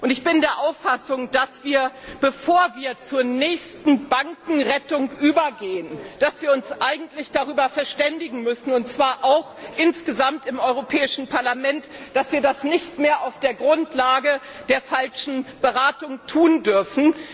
Ich bin der Auffassung, dass bevor wir zur nächsten Bankenrettung übergehen wir uns darüber einigen müssen, und zwar insgesamt im Europäischen Parlament, dass wir das nicht mehr auf der Grundlage einer falschen Beratung tun dürfen.